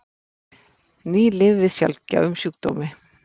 Ný lyf við sjaldgæfum sjúkdómi